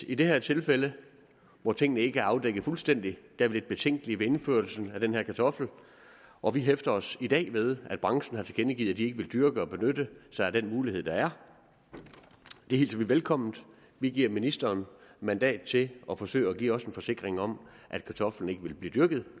i det her tilfælde hvor tingene ikke er afdækket fuldstændig er vi lidt betænkelige ved indførelsen af den her kartoffel og vi hæfter os i dag ved at branchen har tilkendegivet at de ikke vil dyrke og benytte sig af den mulighed der er det hilser vi velkommen vi giver ministeren mandat til at forsøge at give os en forsikring om at kartoflen ikke vil blive dyrket